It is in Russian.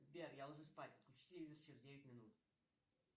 сбер я ложусь спать выключи телевизор через девять минут